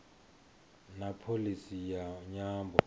na pholisi ya nyambo